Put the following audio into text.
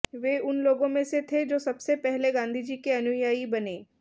वे उन लोगों में से थे जो सबसे पहले गांधीजी के अनुयायी बने